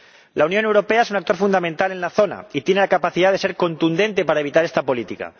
La Unión Europea es un actor fundamental en la zona y tiene la capacidad de ser contundente para evitar esta política.